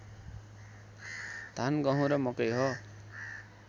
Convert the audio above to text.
धान गहुँ र मकै हो